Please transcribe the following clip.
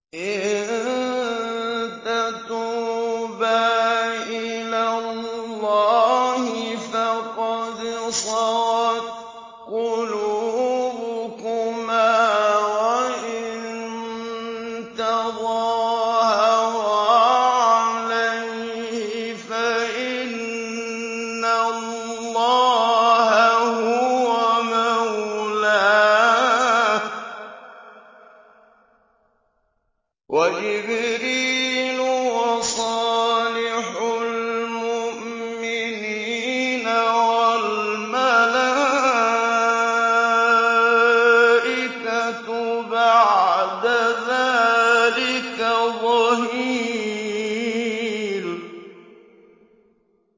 إِن تَتُوبَا إِلَى اللَّهِ فَقَدْ صَغَتْ قُلُوبُكُمَا ۖ وَإِن تَظَاهَرَا عَلَيْهِ فَإِنَّ اللَّهَ هُوَ مَوْلَاهُ وَجِبْرِيلُ وَصَالِحُ الْمُؤْمِنِينَ ۖ وَالْمَلَائِكَةُ بَعْدَ ذَٰلِكَ ظَهِيرٌ